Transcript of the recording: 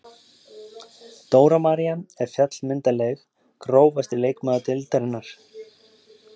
Dóra María er fjallmyndarleg Grófasti leikmaður deildarinnar?